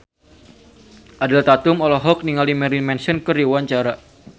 Ariel Tatum olohok ningali Marilyn Manson keur diwawancara